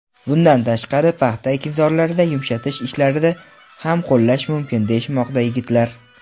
bundan tashqari paxta ekinzorlarida yumshatish ishlarida ham qo‘llash mumkin deyishmoqda yigitlar.